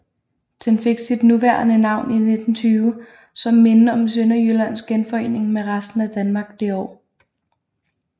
Den fik sit nuværende navn i 1920 som minde om Sønderjyllands genforening med resten af Danmark det år